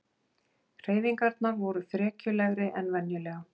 Hreyfingarnar voru frekjulegri en venjulega.